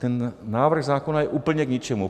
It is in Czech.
Ten návrh zákona je úplně k ničemu.